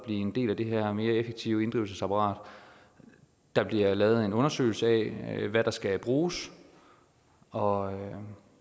en del af det her mere effektive inddrivelsesapparat der bliver lavet en undersøgelse af hvad der skal bruges og